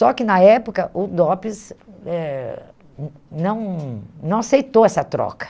Só que na época o DOPS eh hum não não aceitou essa troca.